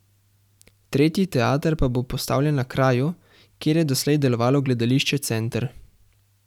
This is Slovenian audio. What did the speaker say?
Tretji teater pa bo postavljen na kraju, kjer je doslej delovalo gledališče Center.